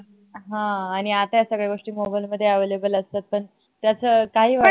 ह आणि आता या सगळ्या गोष्टी mobile मध्ये available असतात पण तास काही वाटत नाही